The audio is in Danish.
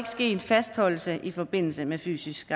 ske fastholdelse i forbindelse med fysisk